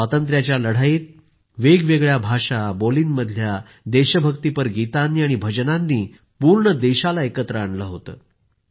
स्वातंत्र्याच्या लढाईत वेगवेगळ्या भाषा बोलीमधल्या देशभक्ति गीतांनी आणि भजनांनी पूर्ण देशाला एकत्र आणलं होतं